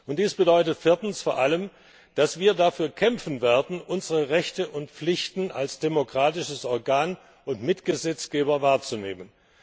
Dies bedeutet viertens vor allem, dass wir dafür kämpfen werden, unsere Rechte und Pflichten als demokratisches Organ und Mitgesetzgeber wahrzunehmen.